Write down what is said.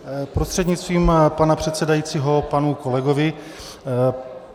Prostřednictvím pana předsedajícího panu kolegovi.